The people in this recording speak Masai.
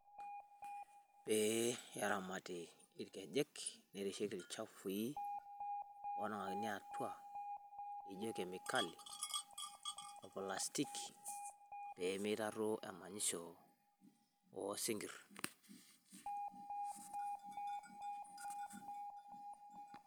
Pee eramati ilkejek, nerishieki ilchafui onangakini atua, naijio kemikalics] ilplastic pee meitaruo emanyisho osinkir.